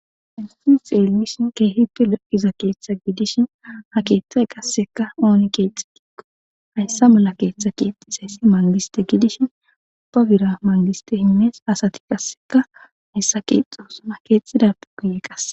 Hayssi xeelimishin keehippe lokiza keeththa gidishin ha keeththay qassekka ooni keexxi diikko hayssa mala keeththa keexxisayssi mangiste gidishin ubba bira mangiste himmees asati qasseka hayssa keexxoosona keexxidappe guyee qasse..